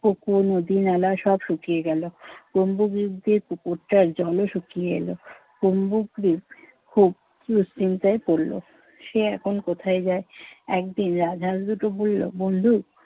পুকুর-নদী-নালা সব শুকিয়ে গেলো। কুম্ভগ্রিত যে পুকুরটার জলও শুকিয়ে এলো। কুম্ভগ্রিত খুব দুশ্চিন্তায় পড়লো। সে এখন কোথায় যায়? একদিন রাজহাঁস দুটো বলল বন্ধু